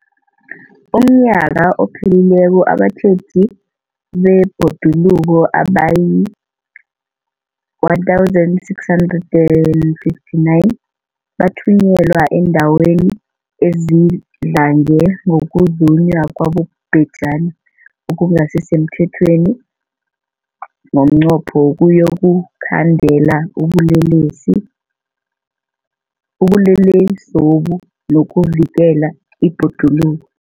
UmNnyaka ophelileko abatjheji bebhoduluko abayi-1 659 bathunyelwa eendaweni ezidlange ngokuzunywa kwabobhejani okungasi semthethweni ngomnqopho wokuyokukhandela ubulelesobu nokuvikela ibhoduluko.